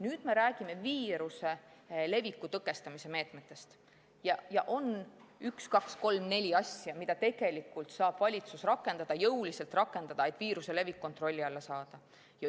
Nüüd me räägime viiruse leviku tõkestamise meetmetest ja on üks, kaks, kolm, neli asja, mida valitsus saab rakendada, jõuliselt rakendada, et viiruse levik kontrolli alla saada.